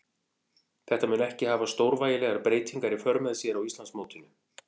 Þetta mun ekki hafa stórvægilegar breytingar í för með sér á Íslandsmótinu.